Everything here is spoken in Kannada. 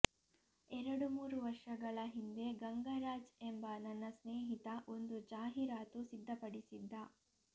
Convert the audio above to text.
ಎರಡು ಮೂರು ವರ್ಷಗಳ ಹಿಂದೆ ಗಂಗರಾಜ್ ಎಂಬ ನನ್ನ ಸ್ನೇಹಿತ ಒಂದು ಜಾಹೀರಾತು ಸಿದ್ಧಪಡಿಸಿದ್ದ